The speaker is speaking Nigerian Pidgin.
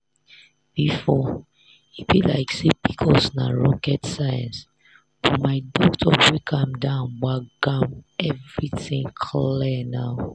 before e be like say pcos na rocket science but my doctor break am down gbagam everything clear now.